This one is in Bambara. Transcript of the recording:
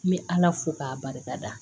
N bɛ ala fo k'a barikada